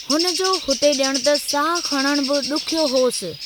हुन जो हुते ॼणु त साहु खणणु बि ॾुखियो होसि।